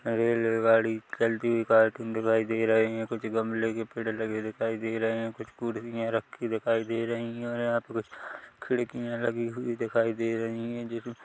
रेलगाड़ी चलती हुई दिखाई दे रही है कुछ गमले के पेड़ लगे दिखाई दे रहे है कुछ खुर्सियां रखी दिखाई दे रहे है यहां पर कुछ खिडकिया लगी हुई दिखाई दे रही है।